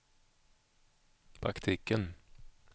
praktiken